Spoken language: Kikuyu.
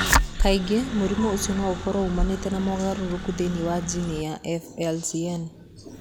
Kaingĩ, mũrimũ ũcio no ũkorũo uumanĩte na mogarũrũku thĩinĩ wa jini ya FLCN.